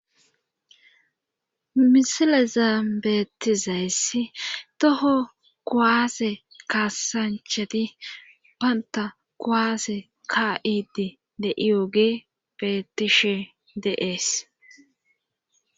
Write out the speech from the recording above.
misile zaa beetizayssi toho koaase kaasanchati banta koaase ka7idi de iyooge betishe deees